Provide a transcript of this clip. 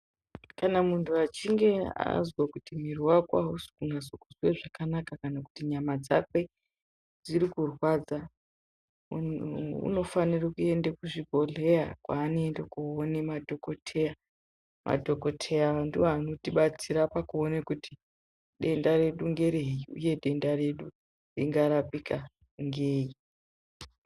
Kana muntu achinge azwa kuti miri wake ausi kunyasa kuzwa zvakanaka kana kuti nyama dzakwe dziri kurwadza, unofanire kuende kuzvibhadhlera kwaanoenda koone madhokodheya. Madhokodheya aya ndiwo anotibatsira pakuone kuti denda redu ngerei uye denda redu ringarapika ngei.